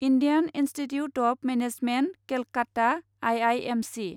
Indian institute of management Calcutta I I M C